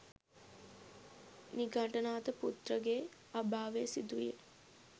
නිගණ්ඨනාථ පුත්‍රගේ අභාවය සිදුවිය.